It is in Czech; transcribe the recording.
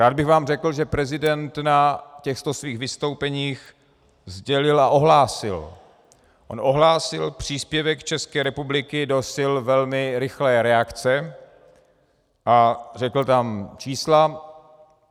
Rád bych vám řekl, že prezident na těchto svých vystoupeních sdělil a ohlásil, on ohlásil příspěvek České republiky do sil velmi rychlé reakce a řekl tam čísla.